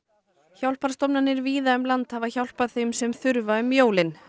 hjálparstofnanir víða um land hafa hjálpað þeim sem þurfa um jólin